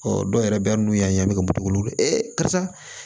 dɔw yɛrɛ bɛ n'u y'a ye a bɛ ka wolo e karisa